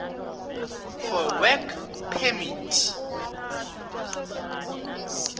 for work permit